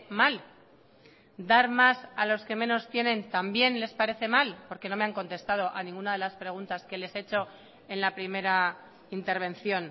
mal dar más a los que menos tienen también les parece mal porque no me han contestado a ninguna de las preguntas que les he hecho en la primera intervención